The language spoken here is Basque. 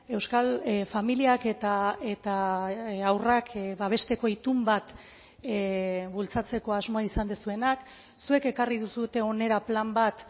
euskal familiak eta haurrak babesteko itun bat bultzatzeko asmoa izan duzuenak zuek ekarri duzue hona plan bat